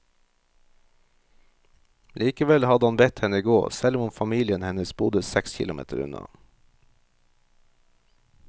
Likevel hadde han bedt henne gå, selv om familien hennes bodde seks kilometer unna.